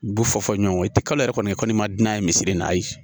Du fɔ fɔ ɲɔgɔn kɔ i ti kalo yɛrɛ kɔnɔ i kɔni ma di n'a ye misiri nayi